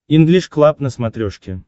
инглиш клаб на смотрешке